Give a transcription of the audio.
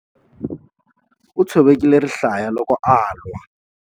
U tshovekile rihlaya loko a lwa.